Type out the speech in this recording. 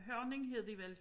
Hørning hed de vel